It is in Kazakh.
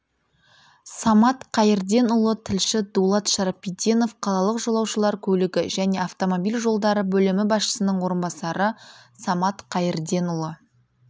самат қайырденұлы тілші дулат шарапиденов қалалық жолаушылар көлігі және автомобиль жолдары бөлімі басшысының орынбасары самат қайырденұлы